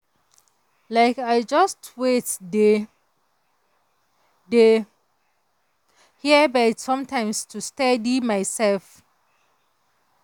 like i just wait dey dey hear bird sometimes to steady myself.